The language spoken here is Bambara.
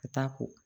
Ka taa ko